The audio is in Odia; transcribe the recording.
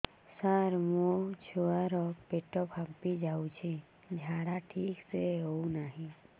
ସାର ମୋ ଛୁଆ ର ପେଟ ଫାମ୍ପି ଯାଉଛି ଝାଡା ଠିକ ସେ ହେଉନାହିଁ